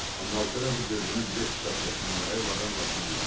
Amma Alfredo gözünü bilet kitabçasından ayırmadan başını buladı.